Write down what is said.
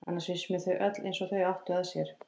Annars finnst mér þau öll eins og þau áttu að sér.